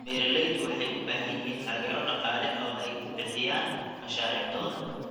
Beeraleydu waxay u baahan yihiin taageero dhaqaale oo ay ku bixiyaan mashaariicdooda.